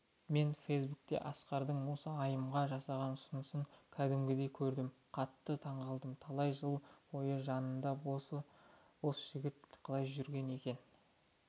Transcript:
мен фейсбуктен асқардың осы айымға жасаған ұсынысын кәдімгідей көрдім қатты таңғалдым талай жыл бойы мынандай басы бос жігіт қалай жүрген екен